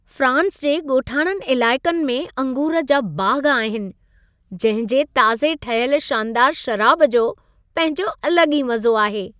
France जे ॻोठाणनि इलाइक़नि में अंगूर जा बाग़ आहिनि, जंहिं जे ताज़े ठहियल शानदारु शराब जो पंहिंजो अलॻि ई मज़ो आहे।